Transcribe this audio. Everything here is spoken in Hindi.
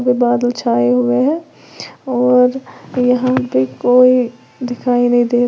वे बादल छाए हुए हैं और यहां पे कोई दिखाई नहीं दे रहा--